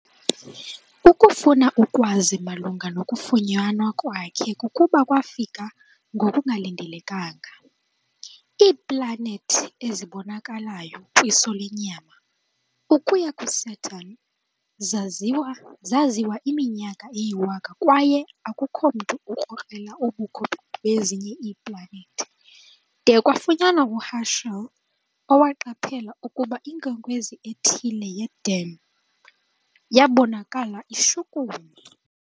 Ukufuna ukwazi malunga nokufunyanwa kwakhe kukuba kwafika ngokungalindelekanga - iiplanethi ezibonakalayo kwiso lenyama, ukuya kuSaturn, zaziwa iminyaka eyiwaka kwaye akukho mntu ukrokrela ubukho bezinye iiplanethi, de kwafunyanwa uHerschel, owaqaphela ukuba inkwenkwezi ethile ye-dim. Yabonakala ishukuma.